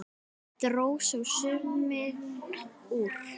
Dró þó sauminn úr.